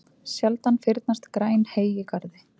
Sjaldan fyrnast græn hey í garði.